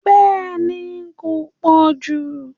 Bẹ́ẹ̀ni kò pọ̀jù